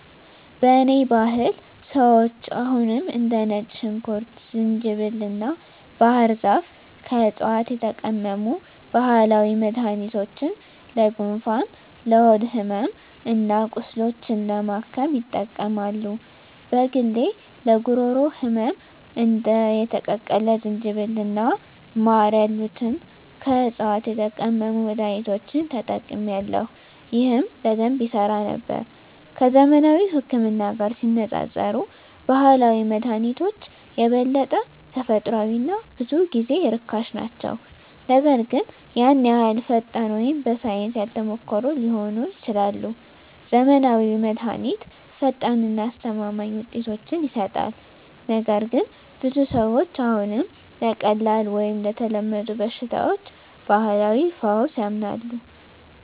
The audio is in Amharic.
በእኔ ባህል ሰዎች አሁንም እንደ ነጭ ሽንኩርት፣ ዝንጅብል እና ባህር ዛፍ ከዕፅዋት የተቀመሙ ባህላዊ መድኃኒቶችን ለጉንፋን፣ ለሆድ ሕመም እና ቁስሎች ለማከም ይጠቀማሉ። በግሌ ለጉሮሮ ህመም እንደ የተቀቀለ ዝንጅብል እና ማር ያሉትን ከዕፅዋት የተቀመሙ መድኃኒቶችን ተጠቅሜአለሁ፣ ይህም በደንብ ይሠራ ነበር። ከዘመናዊው ህክምና ጋር ሲነፃፀሩ ባህላዊ መድሃኒቶች የበለጠ ተፈጥሯዊ እና ብዙ ጊዜ ርካሽ ናቸው, ነገር ግን ያን ያህል ፈጣን ወይም በሳይንስ ያልተሞከሩ ሊሆኑ ይችላሉ. ዘመናዊው መድሃኒት ፈጣን እና አስተማማኝ ውጤቶችን ይሰጣል, ነገር ግን ብዙ ሰዎች አሁንም ለቀላል ወይም ለተለመዱ በሽታዎች ባህላዊ ፈውስ ያምናሉ.